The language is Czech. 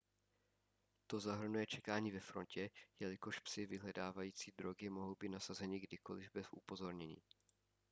to zahrnuje čekání ve frontě jelikož psi vyhledávající drogy mohou být nasazeni kdykoliv bez upozornění